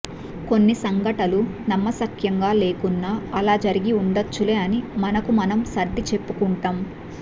కొన్ని సంఘటలు నమ్మశక్యంగా లేకున్నా అలా జరిగి ఉండవచ్చులే అని మనకు మనం సర్ది చెప్పుకుంటాం